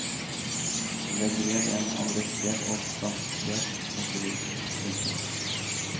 Legg ved en adressert og frankerte konvolutt. punktum